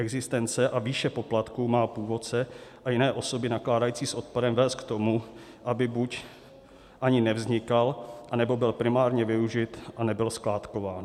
Existence a výše poplatku má původce a jiné osoby nakládající s odpadem vést k tomu, aby buď ani nevznikal, nebo byl primárně využit a nebyl skládkován.